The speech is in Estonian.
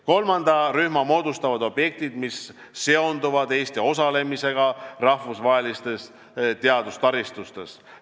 Kolmanda rühma moodustavad objektid, mis seonduvad Eesti osalemisega rahvusvahelistes teadustaristutes.